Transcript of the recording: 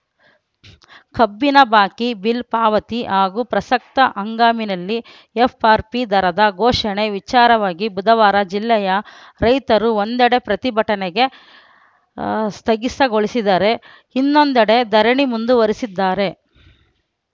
ಕಬ್ಬಿನ ಬಾಕಿ ಬಿಲ್‌ ಪಾವತಿ ಹಾಗೂ ಪ್ರಸಕ್ತ ಹಂಗಾಮಿನಲ್ಲಿ ಎಫ್‌ಆರ್‌ಪಿ ದರ ಘೋಷಣೆ ವಿಚಾರವಾಗಿ ಬುಧವಾರ ಜಿಲ್ಲೆಯ ರೈತರು ಒಂದೆಡೆ ಪ್ರತಿಭಟನೆ ಸ್ಥಗಿತಗೊಳಿಸಿದರೆ ಇನ್ನೊಂದೆಡೆ ಧರಣಿ ಮುಂದುವರಿಸಿದ್ದಾರೆ